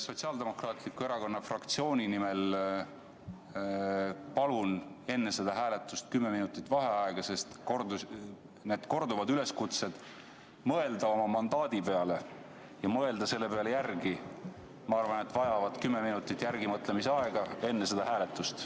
Sotsiaaldemokraatliku Erakonna fraktsiooni nimel palun enne seda hääletust kümme minutit vaheaega, sest korduvad üleskutsed mõelda oma mandaadi peale ja mõelda selle üle järele, ma arvan, vajavad kümmeminutit mõtlemisaega enne seda hääletust.